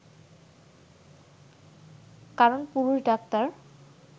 কারণ পুরুষ ডাক্তার